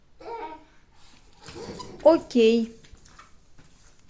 окей